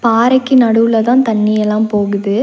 பாறைக்கு நடுவுல தான் தண்ணி எல்லாம் போகுது.